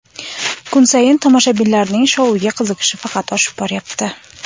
Kun sayin tomoshabinlarning shouga qiziqishi faqat oshib boryapti.